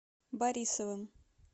борисовым